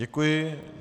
Děkuji.